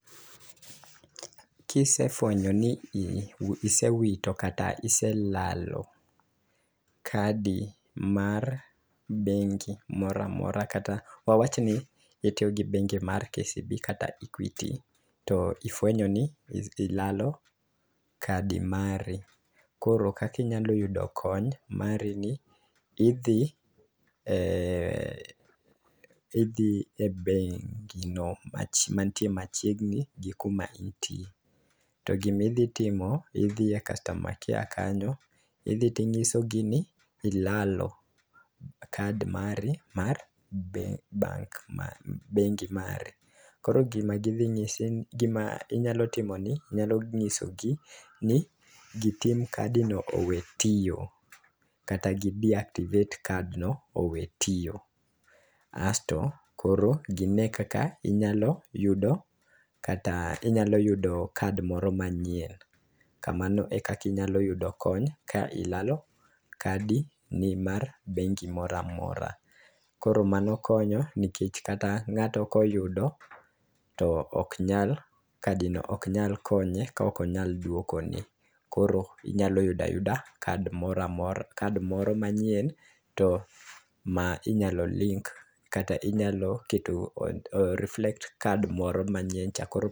Kisefwenyo ni isewito kata iselalo kadi mar bengi moramora kata wawachni itiyo gi bengi mar KCB kata equity to ifwenyo ni ilalo kadi mari. Koro kaki nyalo yudo kony mari ni , idhi e idhi e bengi no ma mantie machiegni gi kuma intie. To gimidhi timo idhi e customer care kanyo idhi ting'iso gi ni ilalo kad mari mar bengi bank ma bengi ma .Koro gidhi ng'isi gima inyalo timo ni inhyalo nyiso gi ni gitim kadi no owe tiyo kata gi deactivate card no owe tiyo asto koro gine kaka inyalo yudo kata inyalo yudo card moro manyien .Kamano e kaka inyalo yudo kony ka ilalo kadi ni mar bengi moramora kroo mano konyo nikech ng'ato koyudo to ok nyal kadi no ok nyal konye ka ok onyal duokoni. Koro inyalo yudo card mora kad moro manyien ma inyalo link kata inyalo o reflect card moro manyien cha koro